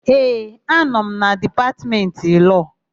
Ee, anọ m na Dipatmentị Lọọ.